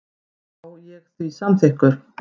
Var ég því samþykkur.